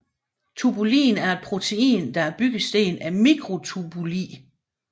Tubulin er et protein der er byggesten af mikrotubuli